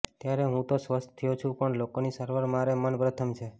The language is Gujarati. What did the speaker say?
ત્યારે હું તો સ્વસ્થ થયો છું પણ લોકોની સારવાર મારે મન પ્રથમ છે